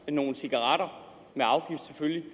nogle cigaretter med afgift selvfølgelig